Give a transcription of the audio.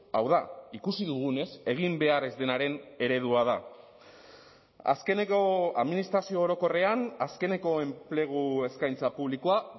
hau da ikusi dugunez egin behar ez denaren eredua da azkeneko administrazio orokorrean azkeneko enplegu eskaintza publikoa